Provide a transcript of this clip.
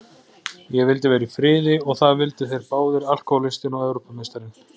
Ég vildi vera í friði og það vildu þeir báðir, alkohólistinn og Evrópumeistarinn.